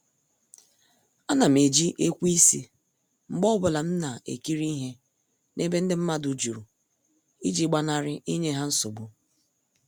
A nam eji ekweisi mgbe ọbụla m na-ekiri ihe na-ebe ndị mmadụ jụrụ iji gbanari inye ha nsogbu.